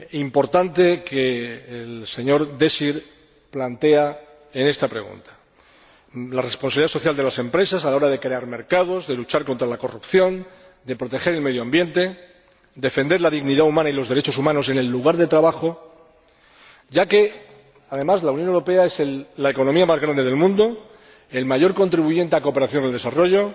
importante que el señor Désir plantea en esta pregunta la responsabilidad social de las empresas a la hora de crear mercados, de luchar contra la corrupción, de proteger el medio ambiente, defender la dignidad humana y los derechos humanos en el lugar de trabajo, ya que, además, la Unión Europea es la economía más grande del mundo y el mayor contribuyente para la cooperación al desarrollo.